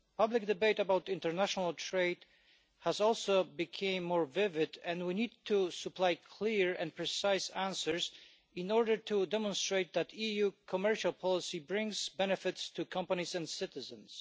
Public debate about international trade has also become more vivid, and we need to supply clear and precise answers in order to demonstrate that EU commercial policy brings benefits to companies and citizens.